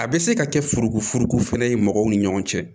A bɛ se ka kɛ furugufurugu fana ye mɔgɔw ni ɲɔgɔn cɛ